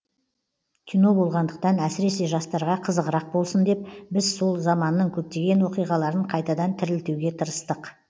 кино болғандықтан әсіресе жастарға қызығырақ болсын деп біз сол заманның көптеген оқиғаларын қайтадан тірілтуге тырыстық